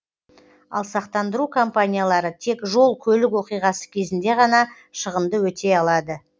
ал сақтандыру компаниялары тек жол көлік оқиғасы кезінде ғана шығынды өтей алады